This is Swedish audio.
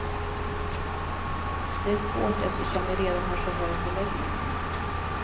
Det är svårt eftersom vi redan har så hög beläggning.